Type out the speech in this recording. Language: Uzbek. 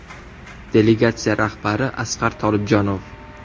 Delegatsiya rahbari Asqar Tolibjonov.